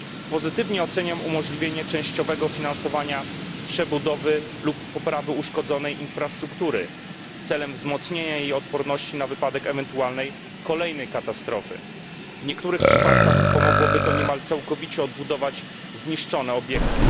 Pozytywnie oceniam umożliwienie częściowego finansowania przebudowy lub poprawy uszkodzonej infrastruktury celem wzmocnienia jej odporności na wypadek ewentualnej kolejnej katastrofy. W niektórych przypadkach pomogłoby to niemal całkowicie odbudować zniszczone obiekty.